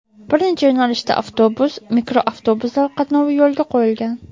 Bir necha yo‘nalishda avtobus, mikroavtobuslar qatnovi yo‘lga qo‘yilgan.